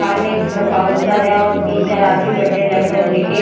सामने की तरफ काउंटर हैं और तीन चार आदमी बैठे हैं लैपटॉप लेके--